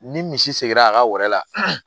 Ni misi seginra a ka gɛrɛ la